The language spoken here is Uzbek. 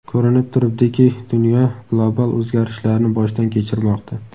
Ko‘rinib turibdiki, dunyo global o‘zgarishlarni boshdan kechirmoqda.